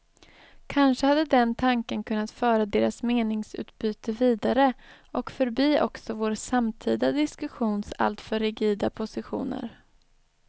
Kanske hade den tanken kunnat föra deras meningsutbyte vidare och förbi också vår samtida diskussions alltför rigida positioner.